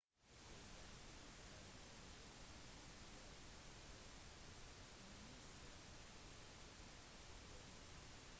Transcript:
etter den tid har kinas økonomi vokst hele 90 ganger